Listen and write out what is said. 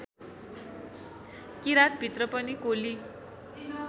किराँतभित्र पनि कोली